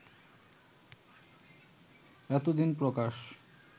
এতদিন প্রকাশ